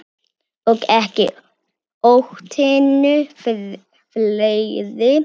Og ekki hótinu fleiri.